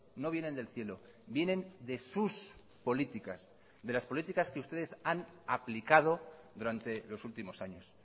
no vienen del cielo vienen de sus políticas de las políticas que ustedes han aplicado durante los últimos años